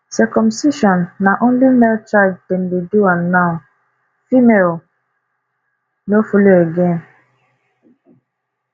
circumcision na only male child dem dey do am now am now female no follow again